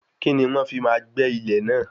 Kíni wọ́n fi máa gbé ilẹ̀ náà?